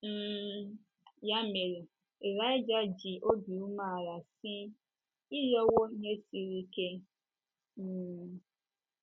um Ya mere, Ịlaịja ji obi umeala sị: “ Ị rịọwo ihe siri ike". um